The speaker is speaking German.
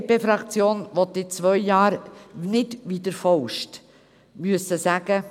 Die BDP-Fraktion will in zwei Jahren nicht wie Faust sagen müssen: